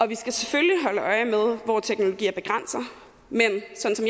vi skal selvfølgelig holde øje med hvor teknologier begrænser men sådan